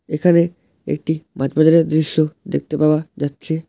এখানে একটি মাছ বাজারের দৃশ্য দেখতে পাওয়া যাচ্ছে।